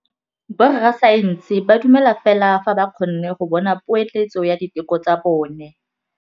Borra saense ba dumela fela fa ba kgonne go bona poeletsô ya diteko tsa bone.